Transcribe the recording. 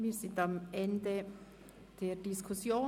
Wir sind am Ende der Diskussion.